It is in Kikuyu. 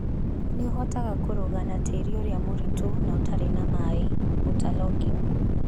Nĩ ũhotaga kũrũga na tĩĩri ũrĩa mũritũ na ũtarĩ na maĩ. (water logging)